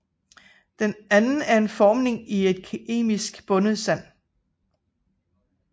Den anden er formning i et kemisk bundet sand